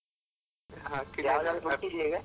ಹುಡ್ಕಿದ್ಯ ಈಗ?